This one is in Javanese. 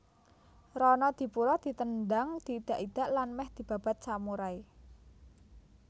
Ronodipuro ditendhang diidak idak lan mèh dibabat samurai